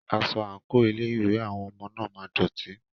Aṣọ/àǹkò ilé ìwé àwọn ọmọ náà máa ń dọ̀tí.